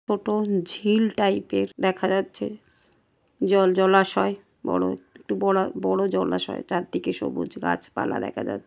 টোটো ঝিল টাইপ এর দেখা যাচ্ছে জল জলাশয় বড় একটু বড় জলাশয় চার দিকে সবুজ গাছ পালা দেখা যাচ--